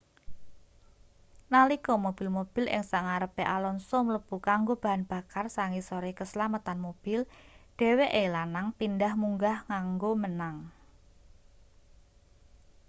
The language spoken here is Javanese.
nalika mobil-mobil ing sangarepe alonso mlebu kanggo bahan bakar sangisore keslametan mobil dheweke lanang pindhah munggah kanggo menang